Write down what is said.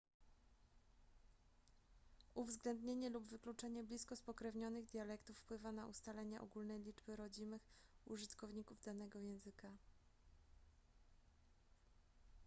uwzględnienie lub wykluczenie blisko spokrewnionych dialektów wpływa na ustalenie ogólnej liczby rodzimych użytkowników danego języka